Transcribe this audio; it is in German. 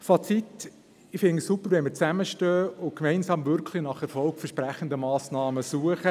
Fazit: Ich finde es super, wenn wir zusammenstehen und gemeinsam nach wirklich erfolgversprechenden Massnahmen suchen.